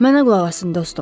Mənə qulaq asın dostum.